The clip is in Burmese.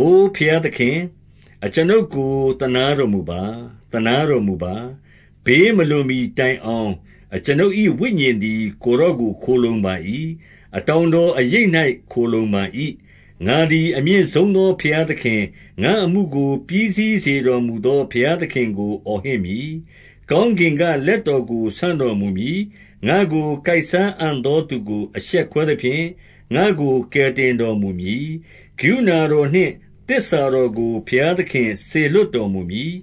အိုဘုရားသခင်၊ အကျွန်ုပ်ကို သနားတော်မူပါ။ သနားတော်မူပါ။ ဘေးမလွန်မှီတိုင်အောင် အကျွန်ုပ်၏ ဝိညာဉ်သည် ကိုယ်တော်ကို ခိုလှုံပါ၏။ အတောင်တော် အရိပ်၌ ခိုလှုံပါ၏။ 2 ငါသည်အမြင့်ဆုံးသော ဘုရားသခင်၊ ငါ့အမှုကို ပြီးစီးစေတော်မူသော ဘုရားသခင်ကို အော်ဟစ်မည်။ 3 ကောင်းကင်ကလက်တော်ကို ဆန့်တော်မူမည်။ ငါ့ကို ကိုက်စားအံ့သောသူကို အရှက်ခွဲသဖြင့်၊ ငါ့ကို ကယ်တင်တော်မူမည်။ ကရုဏာတော်နှင့်သစ္စာတော်ကို ဘုရားသခင် စေလွှတ်တော်မူမည်။